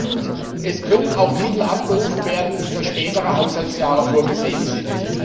Und es können auch Mittel abgerufen werden, die für spätere Haushaltsjahre vorgesehen sind.